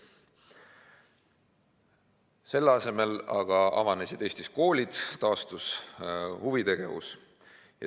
Selle asemel aga avanesid Eestis koolid ja taastus huvitegevus.